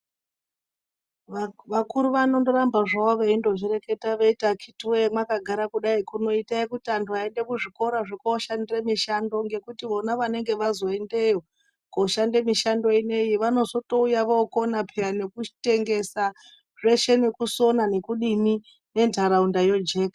Vakuru vanoramba zvawo veyizvireketa veyiti akiti woyee makagara kudayi imboitai kuti antu aende kuzvikora zvekoshandire mushando ngekuti vona vanenge vazoyendeyo koshande mishando ineyi vanotozouya vokona peyani kutengesa zveshe vosona ngokudini ngendaraunda yojeka.